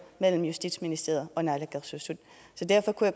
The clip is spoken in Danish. mellem justitsministeriet og naalakkersuisut så derfor kunne